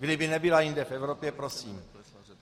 Kdyby nebyla jinde v Evropě, prosím.